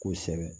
Kosɛbɛ